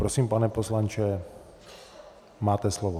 Prosím, pane poslanče, máte slovo.